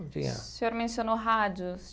O senhor mencionou rádios.